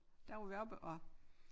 Der var vi oppe og